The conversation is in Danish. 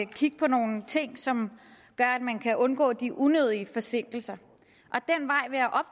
kigge på nogle ting som gør at man kan undgå de unødige forsinkelser